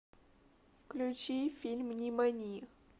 включи фильм нимани